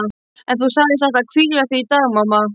En þú sagðist ætla að hvíla þig í dag mamma.